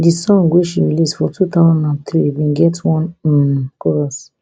di song wey she release for two thousand and three bin get one um chorus